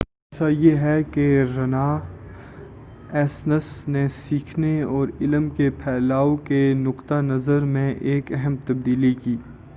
خلاصہ یہ ہے کہ رناایسنس نے سیکھنے اور علم کے پھیلاؤ کے نقطہ نظر میں ایک اہم تبدیلی کی